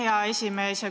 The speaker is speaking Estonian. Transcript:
Aitäh, hea esimees!